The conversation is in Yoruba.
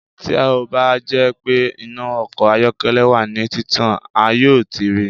Ti o ba jẹ pe ina ọkọ ayọkẹlẹ wa ni titan a yoo ti rii